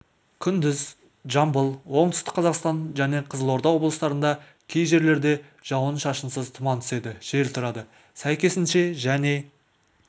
күндіз жамбыл оңтүстік қазақстан және қызылорда облыстарында кей жерлерде жауын-шашынсыз тұман түседі жел тұрады сәйкесінше және